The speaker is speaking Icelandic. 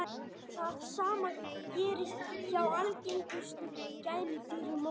það sama gerist hjá algengustu gæludýrum okkar